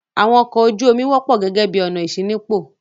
Àwọn ọkọ̀ ojú-omi wọ́pọ̀ gẹ́gẹ́ bí ọ̀nà ìṣínípò.